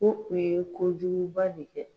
u ye kojugu ba de kɛ.